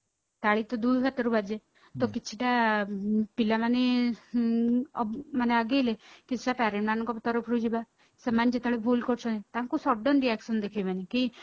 ତାଳି ତ ଦୁଇ ହାତରୁ ବାଜେ ତ କିଛିଟା ପିଲାମାନେ ହୁଁ ମାନେ ଆଗେଇଲେ କିଛିଟା parent ମାନଙ୍କ ବି ତରଫରୁ ଯିବା ସେମାନେ ଯେତେବେଳେ ଭୁଲ କରୁଛନ୍ତି ତାଙ୍କୁ sudden reaction ଦେଖେଇବେନି କି